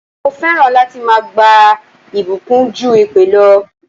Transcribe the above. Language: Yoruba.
Mo fẹ́ràn láti máa gba ìbùkún ju èpè lọ.